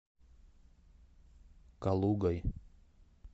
калугой